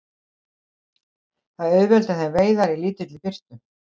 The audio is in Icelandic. Það auðveldar þeim veiðar í lítilli birtu.